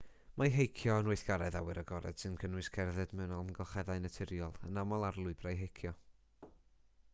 mae heicio yn weithgaredd awyr agored sy'n cynnwys cerdded mewn amgylcheddau naturiol yn aml ar lwybrau heicio